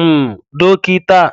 um dókítà